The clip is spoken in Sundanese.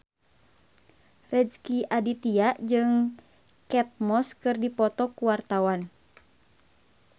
Rezky Aditya jeung Kate Moss keur dipoto ku wartawan